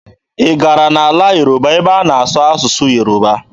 Ị gara n'ala Yoruba ebe a na-asụ asụsụ Yoruba?